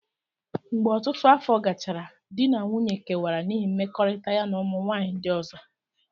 Mgbe ọtụtụ afọ gachara, di na nwunye kewara n'ihi mmekọrịta ya na ụmụ nwanyị ndị ọzọ.